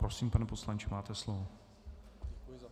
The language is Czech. Prosím, pane poslanče, máte slovo.